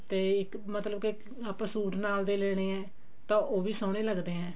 ਤੇ ਇੱਕ ਮਤਲਬ ਕਿ ਆਪਾਂ ਸੂਟ ਨਾਲ ਦੇ ਲੈਣੇ ਆ ਤਾਂ ਉਹ ਵੀ ਸੋਹਣੇ ਲੱਗਦੇ ਨੇ